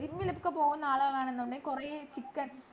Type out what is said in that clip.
ഇങ്ങനെയൊക്കെ പോകുന്ന ആളുകളാണെന്നുണ്ടെങ്കി കൊറേ chicken